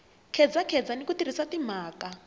khedzakheza ni ku tirhisa timhaka